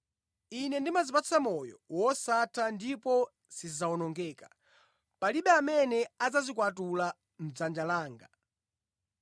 Ine ndimazipatsa moyo wosatha ndipo sizidzawonongeka. Palibe amene adzazikwatula mʼdzanja langa.